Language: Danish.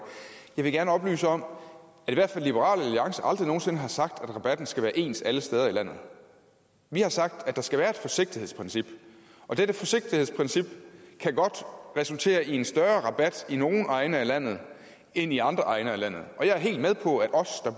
jeg vil gerne oplyse om at i hvert fald liberal alliance aldrig nogensinde har sagt at rabatten skal være ens alle steder i landet vi har sagt at der skal være et forsigtighedsprincip og dette forsigtighedsprincip kan godt resultere i en større rabat i nogle egne af landet end i andre egne af landet og jeg er helt med på at os der